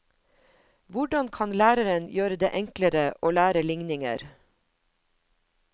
Hvordan kan læreren gjøre det enklere å lære ligninger?